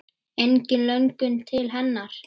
Engin löngun til hennar.